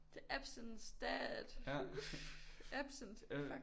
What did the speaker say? The absence dad. Absent fuck